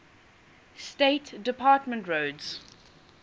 state department records